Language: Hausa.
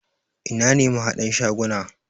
Ina ne mahadan shaguna?